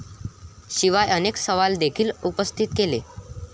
शिवाय अनेक सवाल देखील उपस्थित केले.